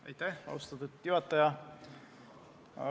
Aitäh, austatud juhataja!